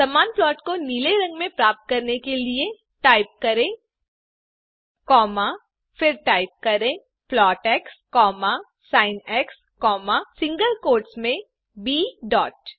समान प्लॉट को नीले रंग में प्राप्त करने के लिए टाइप करें सीएलएफ फिर टाइप करें प्लॉट एक्स sinसिंगल कोट्स में ब डॉट